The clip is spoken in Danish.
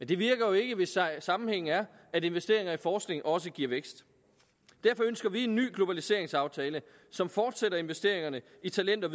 det virker jo ikke hvis sammenhængen er at investeringer i forskning også giver vækst derfor ønsker vi en ny globaliseringsaftale som fortsætter investeringerne i talent og